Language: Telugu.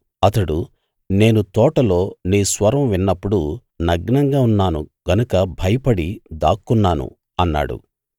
అతడు నేను తోటలో నీ స్వరం విన్నప్పుడు నగ్నంగా ఉన్నాను గనక భయపడి దాక్కున్నాను అన్నాడు